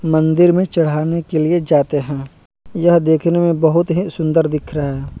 मंदिर में चढ़ाने के लिए जाते हैं यह देखने में बहुत ही सुंदर दिख रहे हैं।